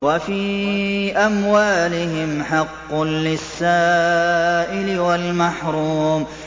وَفِي أَمْوَالِهِمْ حَقٌّ لِّلسَّائِلِ وَالْمَحْرُومِ